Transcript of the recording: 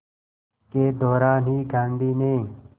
के दौरान ही गांधी ने